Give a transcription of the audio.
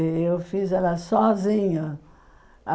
E eu fiz ela sozinha.